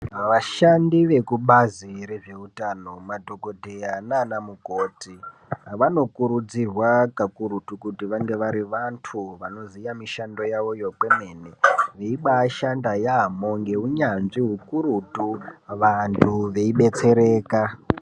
Vashandi vekubazi rezveutano madhokodheya naana mukoti vanokurudzirwa kakurutu kuti vange vari vantu vanoziya mishando yavoyo kwemene veibashanda yaamho neunyanzvi ukurutu vantu veibetsereka .